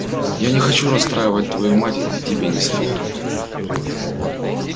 я не хочу расстраивать твою мать и тебе не советую